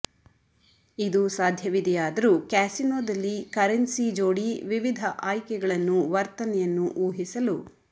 ಇದು ಸಾಧ್ಯವಿದೆಯಾದರೂ ಕ್ಯಾಸಿನೊದಲ್ಲಿ ಕರೆನ್ಸಿ ಜೋಡಿ ವಿವಿಧ ಆಯ್ಕೆಗಳನ್ನು ವರ್ತನೆಯನ್ನು ಊಹಿಸಲು